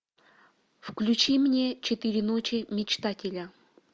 включи мне четыре ночи мечтателя